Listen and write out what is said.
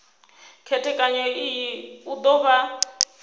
khethekanyo iyi u do vha